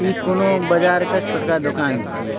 इ कोनो बाजार के छोटका दोकान छिये।